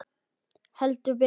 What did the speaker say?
Heldur betur.